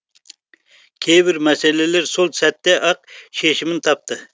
кейбір мәселелер сол сәтте ақ шешімін тапты